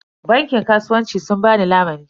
Bankin kasuwancin sun ba ni lamuni.